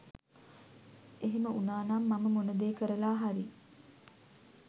එහෙම උනානම් මම මොන දේ කරලා හරි